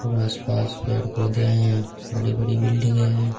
और आस पास पेड़ पौधे हैं बड़ी बड़ी बिल्डिंगे हैं।